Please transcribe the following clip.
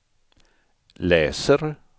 läser